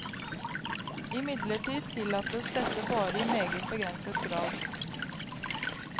Imidlertid tillates dette bare i meget begrenset grad.